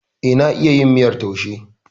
Eh, na iya yin miyar taushe.